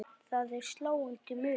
Það er sláandi munur.